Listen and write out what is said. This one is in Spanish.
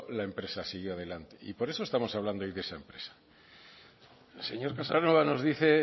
la empresa siguió adelante y por eso estamos hablando hoy de esa empresa el señor casanova nos dice el